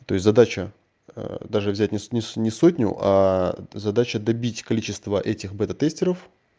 то есть задача даже взять не не с не сотню задача добить количество этих бета тестеров